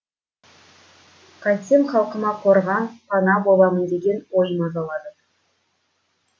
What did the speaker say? қайтсем халқыма қорған пана боламын деген ой мазалады